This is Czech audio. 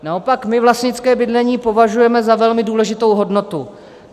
Naopak my vlastnické bydlení považujeme za velmi důležitou hodnotu.